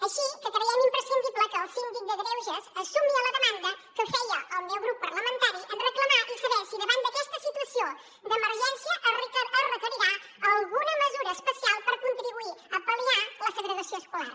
així que creiem imprescindible que el síndic de greuges es sumi a la demanda que feia el meu grup parlamentari en reclamar i saber si davant d’aquesta situació d’emergència es requerirà alguna mesura especial per contribuir a pal·liar la segregació escolar